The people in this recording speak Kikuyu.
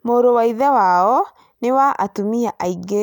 Mũrũ wa Ithe wao nĩ wa atumia aingĩ